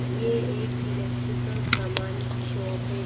ये एक इलेक्ट्रिकल सामान की शॉप है।